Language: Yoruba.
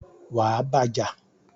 wà á bá a jà!